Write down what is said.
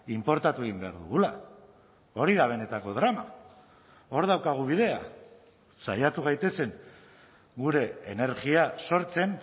inportatu egin behar dugula hori da benetako drama hor daukagu bidea saiatu gaitezen gure energia sortzen